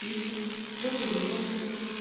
писал кто за рулём был